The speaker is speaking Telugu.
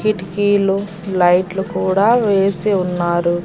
కిటికీలు లైట్ లు కూడా వేసి ఉన్నారు.